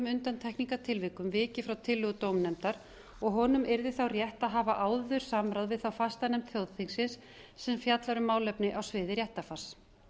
undantekningartilvikum vikið frá tillögu dómnefndar og honum yrði rétt að hafa áður samráð við fastanefnd þjóðþingsins sem fjallar um málefni á sviði réttarfars